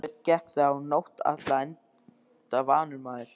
Sveinn gekk þá nótt alla enda vanur maður.